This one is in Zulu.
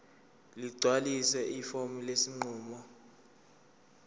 ligcwalise ifomu lesinqumo